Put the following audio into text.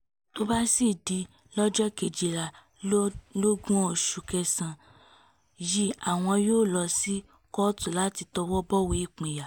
tó bá sì di lọ́jọ́ kejìlélógún oṣù kẹsàn-án yìí àwọn yóò lọ sí kóòtù láti tọwọ́ bọ̀wé ìpínyà